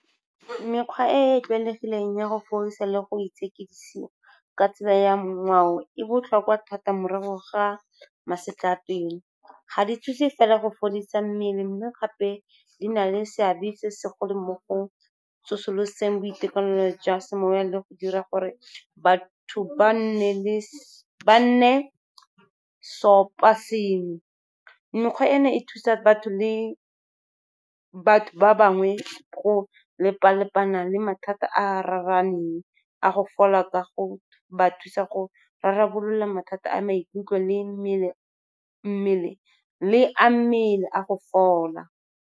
Mekgwa e e tlwaelegileng ya go fodisa le go itshekisiwa ka tsela ya ngwao e botlhokwa thata morago ga masetlapelo. Ga di thuse fela go fodisa mmele, mme gape di na le seabe se segolo mo go tsosoloseng boitekanelo jwa semowa le go dira gore batho ba nne seopa sengwe. Mekgwa eno e thusa batho ba bangwe go lepa-lepana le mathata a raraaneng a go fola ka go ba thusa go rarabolola mathata a maikutlo le a mmele a go fola.